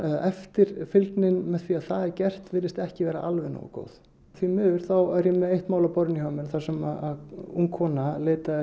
eftirfylgnin með því virðist ekki vera alveg nógu góð því miður er ég með eitt mál á borðinu hjá mér þar sem ung kona